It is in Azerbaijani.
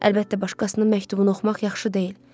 Əlbəttə başqasının məktubunu oxumaq yaxşı deyil.